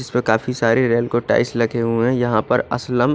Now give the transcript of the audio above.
इसमें काफी सारे रेल के टाइल्स लगे हुए है यहाँ पर असलम--